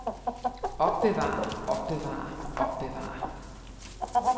opbevare opbevare opbevare